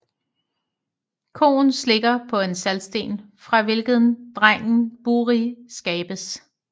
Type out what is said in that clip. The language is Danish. Koen slikker på en saltsten fra hvilken drengen Buri skabes